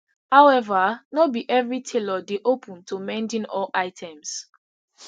however no be evri tailor dey open to mending all items